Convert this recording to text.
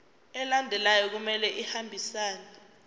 alandelayo kumele ahambisane